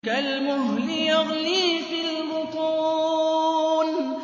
كَالْمُهْلِ يَغْلِي فِي الْبُطُونِ